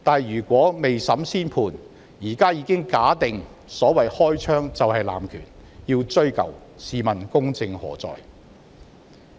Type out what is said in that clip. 如果未審先判，現在便已假定"開槍"就是濫權，要"追究"，試問公正何在？